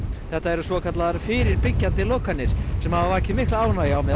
þetta eru svokallaðar fyrirbyggjandi lokanir sem hafa vakið mikla ánægju á meðal